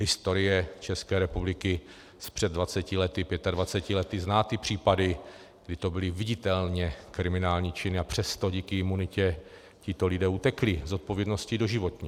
Historie České republiky z před 20 lety, 25 lety zná ty případy, kdy to byly viditelně kriminální činy, a přesto díky imunitě tito lidé utekli zodpovědnosti doživotně.